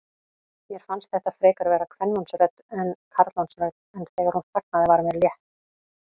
Mér fannst þetta frekar vera kvenmannsrödd en karlmannsrödd, en þegar hún þagnaði var mér létt.